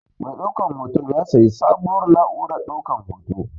Mai ɗaukan hoton ya sayi sabuwar na'urar ɗaukan hoto.